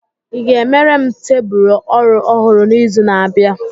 I ga-emere m tebụl ọrụ ọhụrụ n'izu na-abịa?